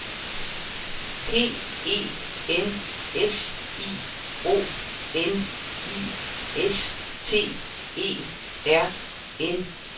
P E N S I O N I S T E R N E S